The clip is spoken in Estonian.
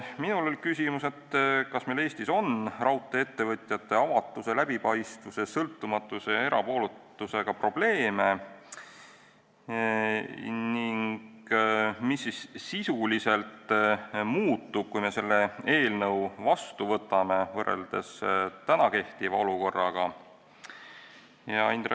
Minul oli küsimus, kas Eestis on raudtee-ettevõtjate avatuse, läbipaistvuse, sõltumatuse ja erapooletusega probleeme ning kui me selle seaduse vastu võtame, mis siis võrreldes kehtiva olukorraga sisuliselt muutub.